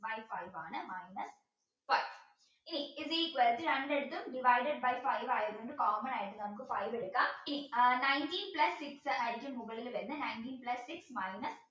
by five ആണ് ഇനി is equal to രണ്ടിടത്തും divided by five ആയതുകൊണ്ട് common ആയിട്ട് നമുക്ക് five എടുക്കാം അഹ് nineteen plus six ആയിരിക്കും മുകളിൽ വരുന്നത് nineteen plus six minus